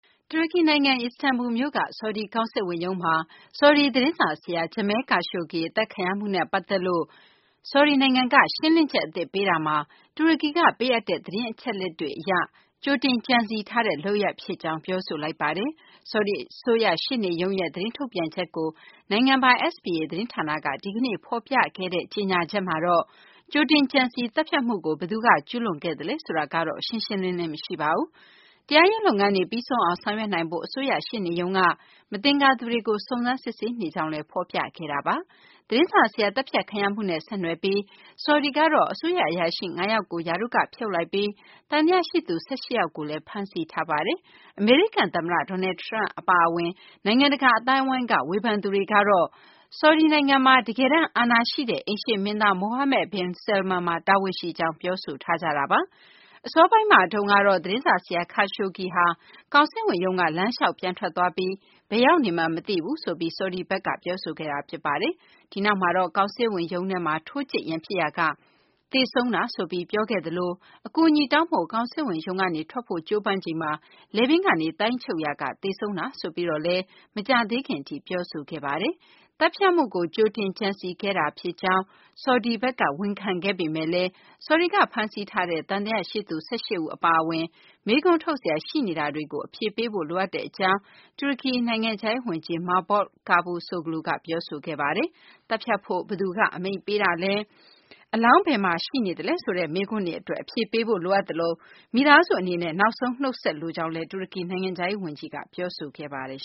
တူရကီနိုင်ငံ အီစတန်ဘူမြို့က ဆော်ဒီကောင်စစ်ဝန်ရုံးမှာ ဆော်ဒီသတင်းစာဆရာ Jamal Khashoggi အသတ်ခံရမှုနဲ့ ပတ်သက်လို့ ဆောင်ဒီနိုင်ငံက ရှင်းလင်းချက်အသစ် ပေးရာမှာ၊ တူရကီက ပေးအပ်တဲ့ သတင်းအချက်အလက်တွေအရ ကြိုတင်ကြံစည်ထားတဲ့ လုပ်ရပ်ဖြစ်ကြောင်း ပြောဆိုလိုက်ပါတယ်။ ဆော်ဒီအစိုးရရှေ့နေရုံးရဲ့ သတင်းထုတ်ပြန်ချက်ကို နိုင်ငံပိုင် SPA သတင်းဌာနက ဒီကနေ့ ဖော်ပြခဲ့တဲ့ ကြေညာချက်မှာတော့ ကြိုတင်ကြံစည်သတ်ဖြတ်မှုကို ဘယ်သူက ကျုးလွန်ခဲ့သလဲ ဆိုတာကတော့ ရှင်းရှင်းလင်းလင်း မရှိပါဘူး။ တရားရေးလုပ်ငန်းတွေ ပြီးဆုံးအောင် ဆောင်ရွက်နိုင်ဖို့ အစိုးရရှေ့နေရုံးက မသင်္ကာသူတွေကို စုံစမ်းစစ်ဆေးနေကြောင်းလည်း ဖော်ပြခဲ့တာပါ။ သတင်းစာဆရာ သတ်ဖြတ်ခံရမှုနဲ့ ဆက်နွယ်ပြီး ဆော်ဒီကတော့ အစိုးရအရာရှိ ၅ ယောက်ကို ရာထူးကဖြုတ်လိုက်ပြီး၊ သံသယရှိသူ ၁၈ ယောက်ကိုလည်း ဖမ်းဆီးထားပါတယ်။ အမေရိကန်သမ္မတ Donald Trump အပါအဝင် နိုင်ငံတကာ အသိုင်းအဝန်းက ဝေဖန်သူတွေကတော့ ဆော်ဒီနိုင်ငံမှာ တကယ်တမ်းအာဏာရှိတဲ့ အိမ်ရှေ့မင်းသား Mohammed bin Salman မှာ တာဝန်ရှိကြောင်း ပြောဆိုထားကြတာပါ။ အစောပိုင်းမှာတုန်းကတော့ သတင်းစာဆရာ Khashoggi ဟာ ကောင်စစ်ဝန်ရုံးက လမ်းလျှောက်ပြန်ထွက်သွားပြီး၊ ဘယ်ရောက်နေမှန်း မသိဘူးဆိုပြီး ဆော်ဒီဘက်က ပြောဆိုခဲ့တာ ဖြစ်ပါတယ်။ ဒီနောက်မှာတော့ ကောင်စစ်ဝန်ရုံးထဲမှာ ထိုးကြိတ်ရန်ဖြစ်ရာက သေဆုံးတာဆိုပြီး ပြောခဲ့သလို၊ အကူအညီတောင်းဖို့ ကောင်စစ်ဝန်ရုံးကနေ ထွက်ဖို့ကြိုးပမ်းချိန်မှာ လည်ပင်းကနေသိုင်းချုပ်ရာက သေဆုံးတာ ဆိုပြီးတော့လည်း မကြာသေးခင်အထိ ပြောဆိုခဲ့တာပါ။ သတ်ဖြတ်မှုကို ကြိုတင်ကြံစည်ခဲ့တာဖြစ်ကြောင်း ဆော်ဒီဘက်က ဝန်ခံခဲ့ပေမဲ့လည်း ဆော်ဒီကဖမ်းဆီးထားတဲ့ သံသယရှိသူ ၁၈ ဦး အပါအဝင် မေးခွန်းထုတ်စရာ ရှိနေတာတွေကို အဖြေပေးဖို့ လိုအပ်ကြောင်း တူရကီနိုင်ငံခြားရေးဝန်ကြီး Mevlut Cavusoglu က ပြောဆိုခဲ့ပါတယ်။ သတ်ဖြတ်ဖို့ ဘယ်သူက အမိန့်ပေးတာလဲ၊ အလောင်း ဘယ်မှာရှိနေလဲ ဆိုတဲ့မေးခွန်းတွေအတွက် အဖြေပေးဖို့ လိုအပ်သလို၊ မိသားစုအနေနဲ့ နောက်ဆုံးနှုတ်ဆက်လိုကြောင်းလည်း တူရကီနိုင်ငံခြားရေးဝန်ကြီးက ပြောဆိုခဲ့ပါတယ်